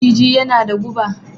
Maciji yana da guɓa